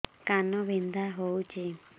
କାନ ବିନ୍ଧା ହଉଛି